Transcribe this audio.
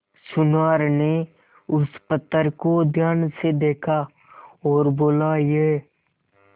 सुनार ने उस पत्थर को ध्यान से देखा और बोला ये